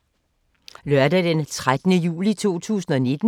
Lørdag d. 13. juli 2019